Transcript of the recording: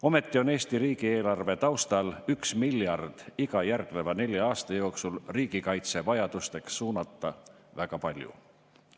Ometi on Eesti riigieelarve taustal 1 miljard iga järgneva nelja aasta jooksul riigikaitsevajadusteks suunata väga palju.